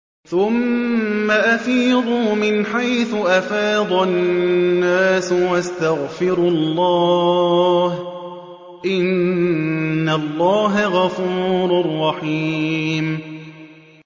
ثُمَّ أَفِيضُوا مِنْ حَيْثُ أَفَاضَ النَّاسُ وَاسْتَغْفِرُوا اللَّهَ ۚ إِنَّ اللَّهَ غَفُورٌ رَّحِيمٌ